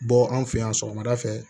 Bɔ an fɛ yan sɔgɔmada fɛ